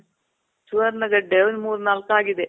ಸುವರ್ಣ ಗಡ್ಡೆ ಒಂದ್ ಮೂರ್ನಾಲ್ಕ್ ಆಗಿದೆ.